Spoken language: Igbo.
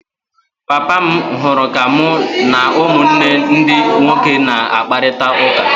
Papa m hụrụ ka mụ na ụmụnne ndi nwoke na-akparịta ụka.